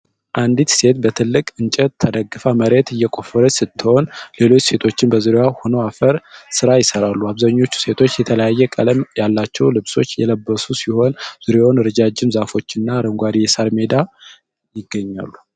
አንዲት ሴት በትልቅ እንጨት ተደግፋ መሬት እየቆፈረች ስትሆን፣ ሌሎች ሴቶችም በዙሪያዋ ሆነው የአፈር ሥራ ይሰራሉ። አብዛኞቹ ሴቶች የተለያየ ቀለም ያላቸው ልብሶች የለበሱ ሲሆን፣ ዙሪያውን ረዣዥም ዛፎችና አረንጓዴ የሳር ሜዳ ይገኛል።